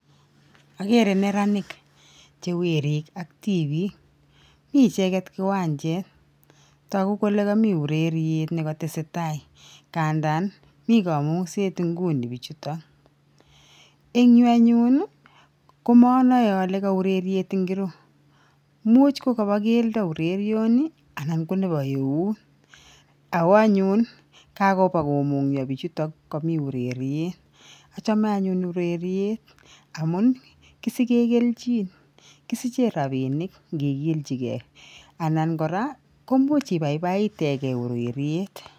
Okere neranik chewerik ak tibik mii cheket kiwanchet toku kole komii ureriet nekotesetai ngandan mii komunset inguni pichutok en yuu anyun komonoe ole ko ureriet ingiro, imuch ko kobo keldo urerioni anan ko nebo eut ako anyun kakopa komunyoo bichutok kobo ureriet ochome anyun ureriet amun kisigen keljin kisiche rabinik nkigilji gee koraa koimuch ibaibaiten gee ureriet.